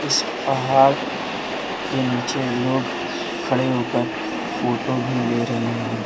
इस पहाड़ के नीचे लोग खड़े होकर फोटो भी ले रहे है।